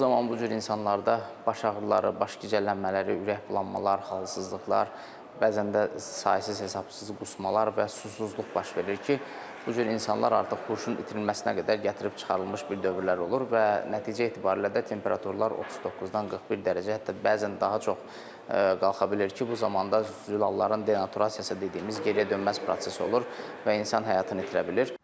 Bu zaman bu cür insanlarda baş ağrıları, baş gicəllənmələri, ürək bulanmalar, halsızlıqlar, bəzən də saysız-hesabsız qusmalar və susuzluq baş verir ki, bu cür insanlar artıq huşun itirilməsinə qədər gətirib çıxarılmış bir dövrlər olur və nəticə etibarilə də temperaturlar 39-dan 41 dərəcə, hətta bəzən daha çox qalxa bilir ki, bu zamanda zülalların denaturasiyası dediyimiz geriyə dönməz proses olur və insan həyatını itirə bilir.